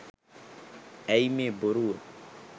ඇයි මේ බොරුව